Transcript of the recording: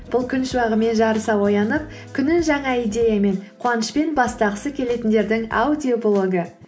бұл күн шуағымен жарыса оянып күнін жаңа идеямен қуанышпен бастағысы келетіндердің аудиоблогы